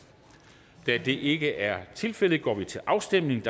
der er det ikke er tilfældet går vi til afstemning